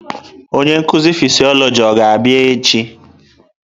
Onye nkuzi fịsiolojị ọ ga-abịa echi?